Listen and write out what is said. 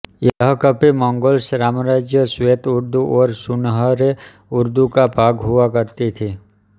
यह कभी मंगोल साम्राज्य श्वेत उर्दू और सुनहरे उर्दू का भाग हुआ करती थी